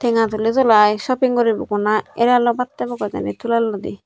tenga tuli tulai sopping guribogoi na eraloi baat hebogoi udine tulelloide.